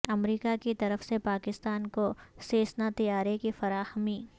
امریکہ کی طرف سے پاکستان کو سیسنا طیارے کی فراہمی